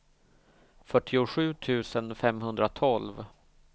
fyrtiosju tusen femhundratolv